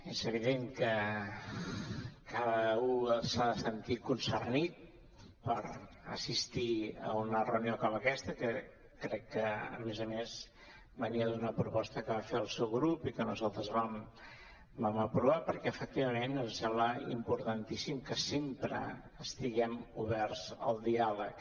és evident que cada u s’ha de sentir concernit per assistir a una reunió com aquesta que crec que a més a més venia d’una proposta que va fer el seu grup i que nosaltres vam aprovar perquè efectivament ens sembla importantíssim que sempre estiguem oberts al diàleg